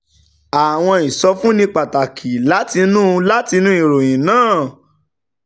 àwọn ìsọfúnni pàtàkì látinú látinú ìròyìn náà